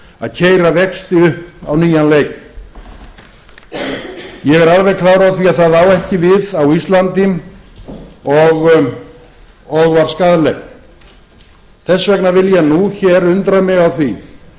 að keyra vexti upp á nýjan leik ég er alveg klár á því að það á ekki við á íslandi og var skaðlegt þess vegna vil ég nú hér undra mig á því af